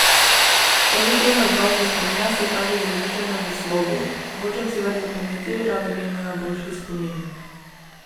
Pozitiven odnos do spomina se kaže z razmišljanjem v slogu: 'hočem si več zapomniti, rada bi imela boljši spomin'.